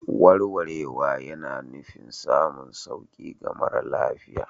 Warwarewa yana nufin samun sauƙi ga mara lafiya.